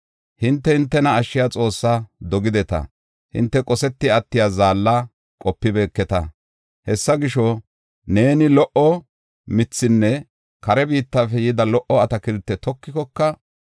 Hinte hintena ashshiya Xoossaa dogideta; hinte qoseti attiya zaalla qopibeketa. Hessa gisho, neeni lo77o mithaanne kare biittafe yida lo77o atakiltiya tokikoka,